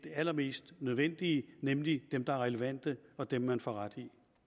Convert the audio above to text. allermest nødvendige nemlig dem der er relevante og dem man får ret